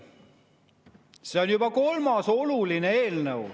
See on juba kolmas oluline eelnõu.